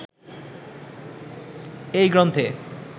এই গ্রন্থে